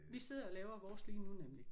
Vi sidder og laver vores lige nu nemlig